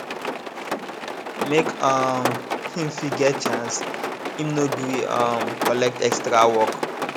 make um him fit get chance im no gree um collect extra work